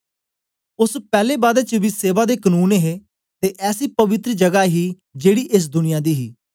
ओस पैले बादा च बी सेवा दे कनून हे ते ऐसी पवित्र जगा ही जेड़ी एस दुनिया दी ही